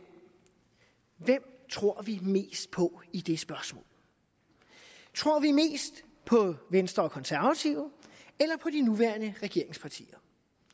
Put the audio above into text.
hvem tror vi mest på i det spørgsmål tror vi mest på venstre og konservative eller på de nuværende regeringspartier